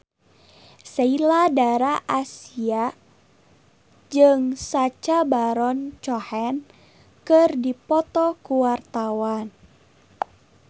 Sheila Dara Aisha jeung Sacha Baron Cohen keur dipoto ku wartawan